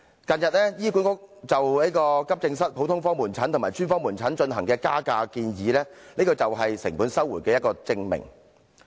近日，醫管局就急症室、普通科門診及專科門診進行的加價建議，這就是成本收回的一個證明。